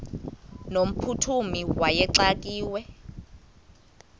no mphuthumi wayexakiwe